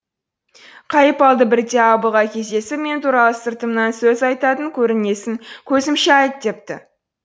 қайыпалды бірде абылға кездесіп мен туралы сыртымнан сөз айтатын көрінесің көзімше айт депті